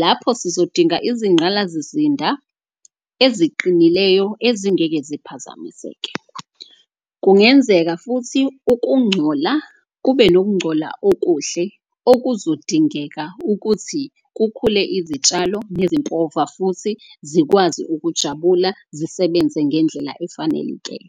lapho sizodinga izinqgalazizinda eziqinileyo ezingeke ziphazamiseke. Kungenzeka futhi ukungcola, kube nokungcola okuhle okuzodingeka ukuthi kukhule izitshalo nezimpova futhi zikwazi ukujabula, zisebenze ngendlela efanelekile.